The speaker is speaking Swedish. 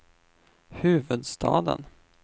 huvudstaden